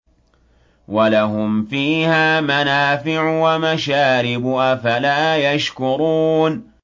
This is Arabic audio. وَلَهُمْ فِيهَا مَنَافِعُ وَمَشَارِبُ ۖ أَفَلَا يَشْكُرُونَ